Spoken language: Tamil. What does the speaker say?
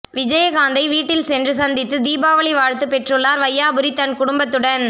விஜயகாந்தை வீட்டில் சென்று சந்தித்து தீபாவளி வாழ்த்து பெற்றுள்ளார் வையாபுரி தன் குடும்பத்துடன்